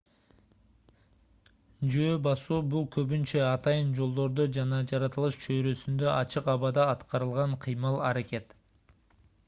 жөө басуу бул көбүнчө атайын жолдордо жана жаратылыш чөйрөсүндө ачык абада аткарылган кыймыл-аракет